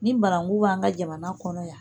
Ni baranku b'an ka jamana kɔnɔ yan